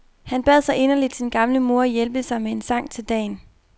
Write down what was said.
Han bad så inderligt sin gamle mor hjælpe sig med en sang til dagen.